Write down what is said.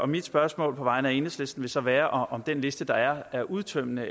mit spørgsmål på vegne af enhedslisten vil så være om den liste der er er udtømmende